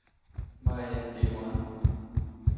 Marian Deleuran